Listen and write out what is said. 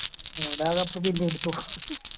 ഓലാ cup തന്നെ എടുത്തു